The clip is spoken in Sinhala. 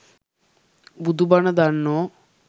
බුදු බණ දන්නෝ